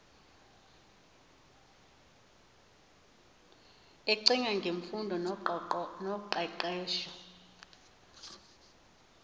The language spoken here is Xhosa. ecinga ngemfundo noqeqesho